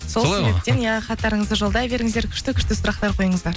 иә хаттарыңызды жолдай беріңіздер күшті күшті сұрақтар қойыңыздар